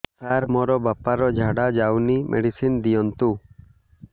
ସାର ମୋର ବାପା ର ଝାଡା ଯାଉନି ମେଡିସିନ ଦିଅନ୍ତୁ